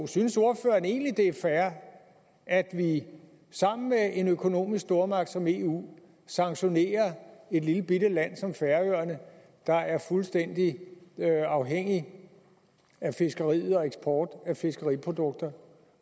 synes ordføreren egentlig det er fair at vi sammen med en økonomisk stormagt som eu sanktionerer et lillebitte land som færøerne der er fuldstændig afhængigt af fiskeri og eksport af fiskeriprodukter